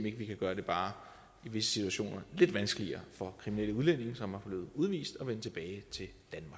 ikke vi kan gøre det bare i visse situationer lidt vanskeligere for kriminelle udlændinge som er blevet udvist at vende tilbage til